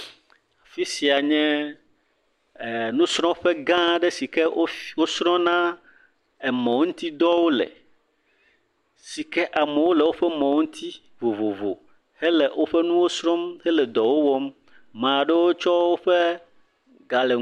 Afi sia nye nusrɔ̃ƒegã aɖe si ke wosrɔ̃na emɔŋutidɔwo le, si ke amewo le woƒe mɔwo ŋuti vovovo hele woƒe nuwo srɔ̃m hele dɔwo wɔm, amea ɖewo tsɔ woƒe…